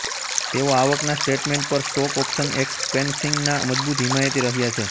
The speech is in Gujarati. તેઓ આવકના સ્ટેટમેન્ટ પર સ્ટોક ઓપ્શન એક્સ્પેન્સીંગના મજબૂત હિમાયતી રહ્યા છે